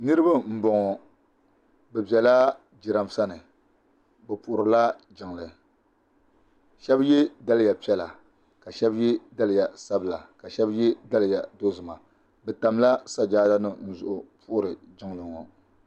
Niriba n bɔŋɔ bi bɛla jiranbesa ni bi puhiri la jiŋli shɛba yiɛ daliya piɛlla ka shɛba yiɛ daliya sabila ka shɛba yiɛ daliya dozim a bi tamila sajada nima zuɣu n puhiri jiŋli ŋɔ.